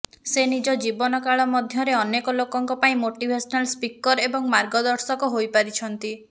ସେ ନିଜ ଜୀବନ କାଳ ମଧ୍ୟରେ ଅନେକ ଲୋକଙ୍କ ପାଇଁ ମୋଟିଭେସନାଲ ସ୍ପିକର୍ ଏବଂ ମାର୍ଗଦର୍ଶକ ହୋଇପାରିଛନ୍ତି